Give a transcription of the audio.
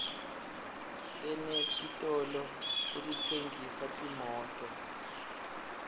senetitolo letitsengisa timoto